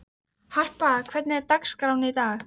Harpa, hvernig er dagskráin í dag?